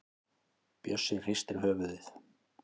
Bjössi hristir höfuðið.